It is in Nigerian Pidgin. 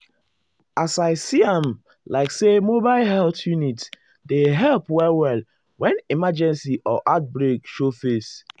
as i see am like say mobile health unit dey help well-well when emergency or outbreak show face.